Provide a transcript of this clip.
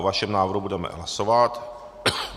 O vašem návrhu budeme hlasovat.